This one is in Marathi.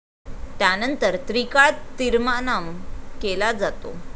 त्यानंतर त्रिकाळ तीर्मानाम केला जातो.